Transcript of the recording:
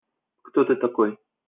кто ты такой